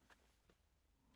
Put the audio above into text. TV 2